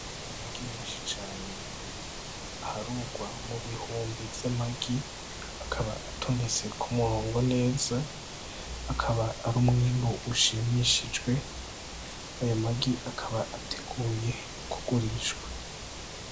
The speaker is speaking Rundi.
Amagi menshi aharugwa mu bihumbi vy'amagi, akaba atondetse ku murongo neza, akaba ari umwimbu ushimishije, aya magi akaba ateguye kugurishwa.